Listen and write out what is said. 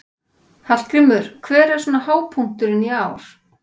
Hallgrímur, hver er svona hápunkturinn í ár?